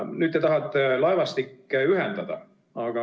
Nüüd te tahate laevastikke ühendada.